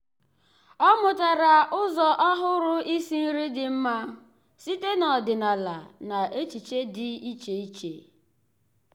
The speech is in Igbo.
ọ́ mụ́tàrà ụ́zọ́ ọ́hụ́rụ́ ísí nrí dị́ mma site n’ọ́dị́nála na echiche dị́ iche iche.